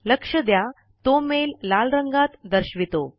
लक्ष द्या तो मेल लाल रंग दर्शवेल